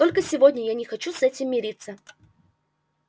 только сегодня я не хочу с этим мириться